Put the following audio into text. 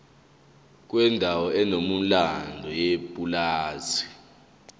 kwendawo enomlando yepulazi